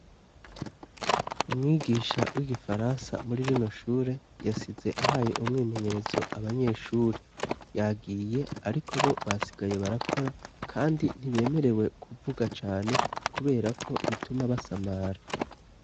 Umwigisha w'igifaransa muri rino shure yasize ahaye umwimenyerezo abanyeshuri yagiye ariko bo basigaye barakora kandi ntibemerewe kuvuga cane kubera ko bituma basamara.